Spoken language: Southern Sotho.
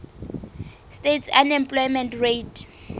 states unemployment rate